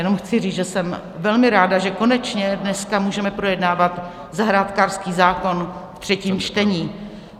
Jenom chci říct, že jsem velmi ráda, že konečně dneska můžeme projednávat zahrádkářský zákon ve třetím čtení.